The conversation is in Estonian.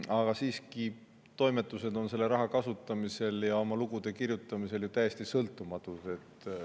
Aga siiski, toimetused on selle raha kasutamisel ja lugude kirjutamisel täiesti sõltumatud.